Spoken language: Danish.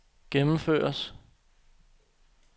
gennemføres